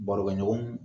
Barokɛɲɔgɔnw